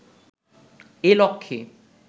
এ লক্ষ্যে